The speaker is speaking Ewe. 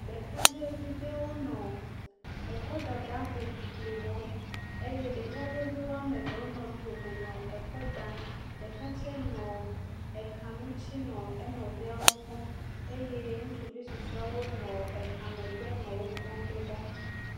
Ɖekadzɛvi aɖe nɔ kɔdada hoʋiʋli wɔm eye ɖekadzɛviwo ame eve nɔ tome nɔ kɔ dam ɖeka tsɛ nɔ ka ŋti nɔ enɔviawo kpɔm eye ŋutsuvi susuewo nɔ ka megbe nɔ wokpɔm ɖoɖa